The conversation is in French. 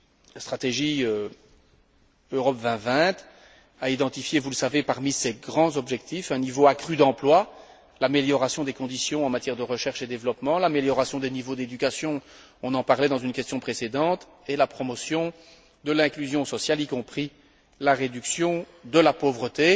La stratégie Europe 2020 a identifié, vous le savez, parmi ses grands objectifs, un niveau accru d'emplois, l'amélioration des conditions en matière de recherche et développement, l'amélioration des niveaux d'éducation on en parlait dans une question précédente et la promotion de l'inclusion sociale, y compris la réduction de la pauvreté.